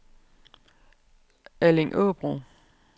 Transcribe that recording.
Allingåbro